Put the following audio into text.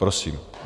Prosím.